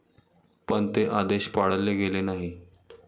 पण ते आदेश पाळले गेले नाहीत.